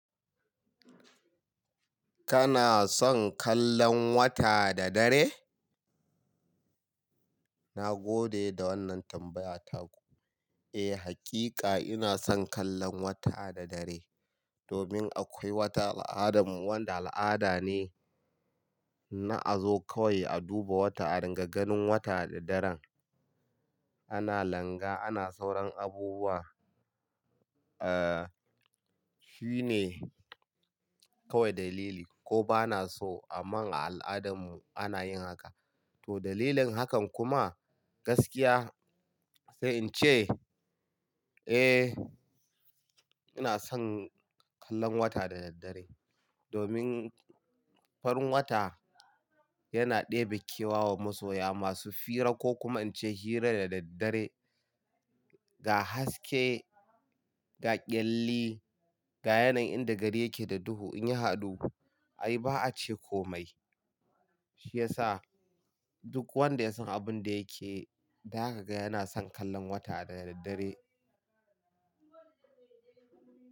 Kana son kallon wata da dare? Na gode da wannan tambaya taku. Eh, hakika ina son kallon wata da dare. Domin akwai wata al'adam wanda al'ada ne na a zo kawai a duba wata a ringa ganin wata da daren ana langa, ana sauran abubuwa. Eh, shi ne kawai dalili ko bana so amma a al'adam mu ana yin haka. To dalilin hakan kuma gaskiya sai in ce, eh ina son kallon wata da daddare. Domin farin wata yana ɗebe kewa wa masoya masu fira ko kuma in ce hira da daddare ga haske, ga kyalli, ga yanayin inda gari yake da duhu in yi hadu. Ai ba a ce komai. Shi ya sa duk wanda ya san abun da yake, zaka ga yana son kallon wata da daddare.